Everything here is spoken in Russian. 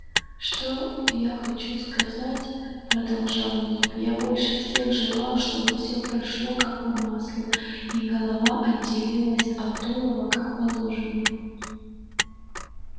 что я хочу сказать продолжал ник я больше всех желал чтобы всё прошло как по маслу и голова отделилась от тулова как положено